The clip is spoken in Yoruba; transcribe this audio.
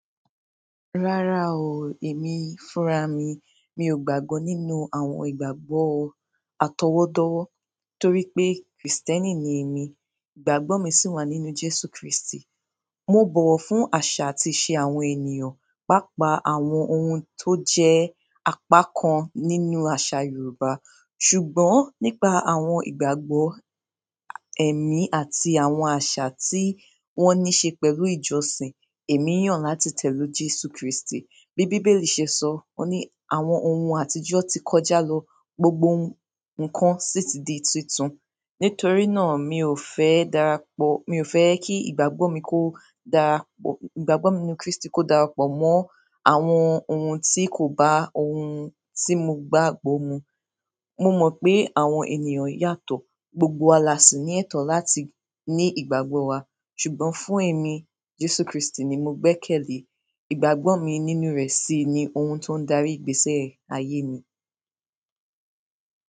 Rárá o, èmi fúnra mi. Mi ò gbàgbọ́ nínú àwọn ìgbàgbọ́ atọwọ́dọwọ́ torí pé Kristẹni ni èmi. Ìgbàgbọ́ mi si wa nínú Jésù kristi. Mo bọ̀wọ̀ fún àṣà àti ìṣe àwọn ènìyàn, pàápàá àwọn ohun tó jẹ́ apakan nínú àṣà Yorùbá. Ṣùgbọ́n nípa àwọn ìgbàgbọ́ ẹ̀mí àti àwọn aṣa tí wọ́n ní ṣe pẹ̀lú ìjọsìn, èmi yàn láti tẹ̀lú Jésù Kristi. Bí Bíbélì ṣe sọ wọ́n ní "Àwọn ohun àtijọ́ ti kọjá lọ, gbogbo nǹkan sì ti di tuntun." Nítorí náà, mi ò fẹ́ darapọ̀, mi ò fẹ́ kí ìgbàgbọ́ mi kó darapọ̀-- ìgbàgbọ́ mi nínú Kristi kó darapọ̀ mọ́ àwọn ohun tí kò bá ohun tí mo gbàgbọ́ mu. Mo mọ́ pé àwọn ènìyàn yàtọ̀, gbogbo wa sì ní ẹ̀tọ́ láti ní ìgbàgbọ́ wa. Ṣùgbọ́n fún èmi, Jésù Kristi ni mo gbẹ́kẹ̀lé, ìgbàgbọ́ mi nínú rẹ̀ sì ni ohun tó ń darí ìgbésẹ́ ayé mi.